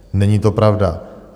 Není to pravda.